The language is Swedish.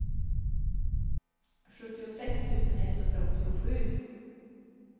sjuttiosex tusen etthundraåttiosju